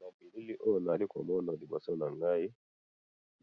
na bilili oyo nazali komonana liboso nangayi